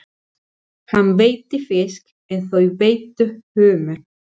Hann veiddi fisk en þau veiddu humar.